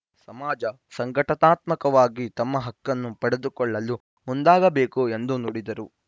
ಸಮಾಜ ಸಂಘಟನಾತ್ಮಕವಾಗಿ ತಮ್ಮ ಹಕ್ಕನ್ನು ಪಡೆದುಕೊಳ್ಳಲು ಮುಂದಾಗಬೇಕು ಎಂದು ನುಡಿದರು